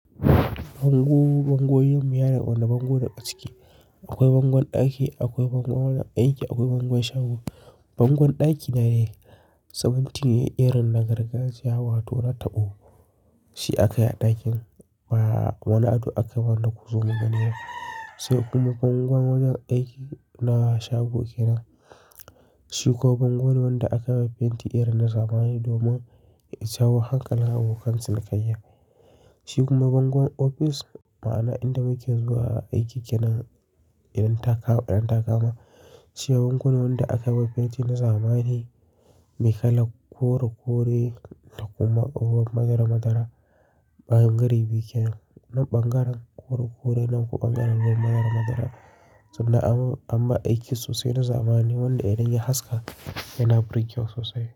Bangon bangon mu yana da wani bango da ciki. Akwai bangon ɗaki, akwai bango na aiki, akwai bangon shanu. Bangon ɗaki na dai sabonti ne, irin na gargajiya wato na taɓo. Shi aka yi a ɗakin, ba wani ado akai wanda ku zo mu ganiba. Sai kuma bangon wajen aiki na shago kenan. Shi kuma bango ne wanda aka yi wa fenti irin na zamani domin ya jawo hankalin abokan cinikayya. Shi kuma bangon ofis, ma'ana inda muke zuwa aiki kenan, idan ta ka, idan ta kama. Shi bango ne wanda aka yi wa fenti na zamani, mai kalan koro kore, da kuma ko madara madara. Ɓangare biyu kenan nan ɓangaren kore kore, nan kuwa ɓangaren na madara madara. Sannan an anmar aikin sosai na zamani wanda idan ya haska yana burgewa sosai.